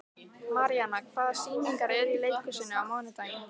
Maríana, hvaða sýningar eru í leikhúsinu á mánudaginn?